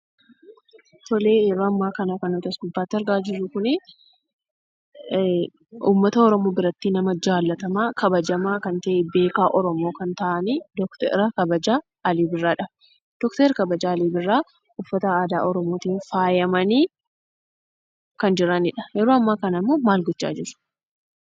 Yeroo ammaa kan kan nuti as gubbaatti argaa jirru kuni, uummata Oromoo biratti nama jaallatamaa kabajamaa kan ta'e beekaa Oromoo kan ta'ani Dooktora kabajaa Alii Birraadha. Dooktorri kabajaa Alii Birraan uffata aadaa Oromootin faayamanii kan jiranidha. Yeroo ammaa kana ammoo maal gochaa jiru?